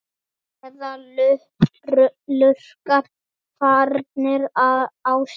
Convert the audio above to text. Eða lurkar farnir á stjá?